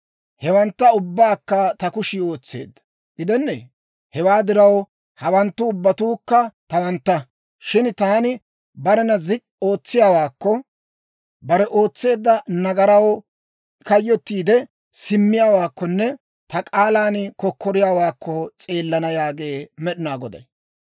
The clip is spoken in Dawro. Hewantta ubbabaakka ta kushii ootseedda gidennee? Hewaa diraw, hawanttu ubbatuukka tawantta. Shin taani barena zik'k'i ootsiyaawaakko, bare ootseedda nagaraw kayyotiide simmiyaawaakkonne ta k'aalan kokkoriyaawaakko s'eelana yaagee Med'inaa Goday.